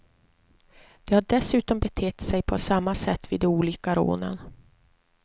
De har dessutom betett sig på samma sätt vid de olika rånen.